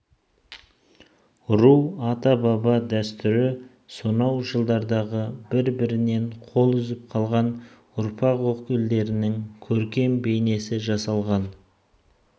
ру ата-баба дәстүрі сонау жылдардағы бір-бірінен қол үзіп қалған ұрпақ өкілдерінің көркем бейнесі жасалған